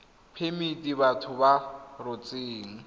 phemiti batho ba ba rotseng